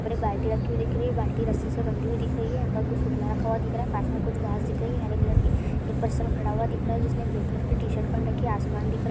उधर एक बाल्टी रखी हुई है बाल्टी रस्सी से बंधी हुई दिख रही है| यहाँ पर कुछ रखा हुआ दिख रहा है पास में| कुछ घास दिख रही हैं हरे कलर की| एक पर्सन खड़ा हुआ दिख रहा है जिसने ब्लू कलर की टी-शर्ट पहन रखी है आसमान दिख रहा--